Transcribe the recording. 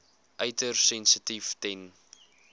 uiters sensitief ten